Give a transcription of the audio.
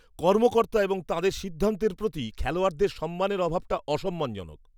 কর্মকর্তা এবং তাঁদের সিদ্ধান্তের প্রতি খেলোয়াড়দের সম্মানের অভাবটা অসম্মানজনক।